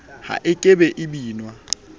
ha e ke e binwa